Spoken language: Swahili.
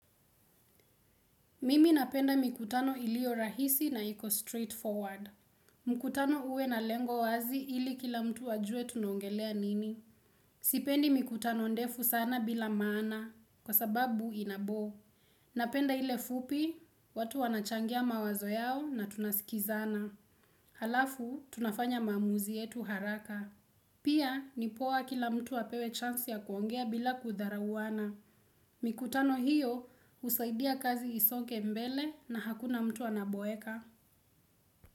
Mimi napenda mikutano ilio rahisi na iko straight forward. Mkutano uwe na lengo wazi ili kila mtu wajue tunongelea nini. Sipendi mikutano ndefu sana bila maana kwa sababu inabo. Napenda ile fupi, watu wanachangia mawazo yao na tunasikizana. Halafu, tunafanya mamuzi yetu haraka. Pia, nipowa kila mtu wapewe chansi ya kuongea bila kutharauana. Mikutano hiyo husaidia kazi isongembele na hakuna mtu anaboeka.